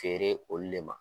Feere olu le ma